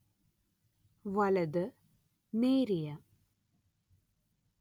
വലത് നേരിയ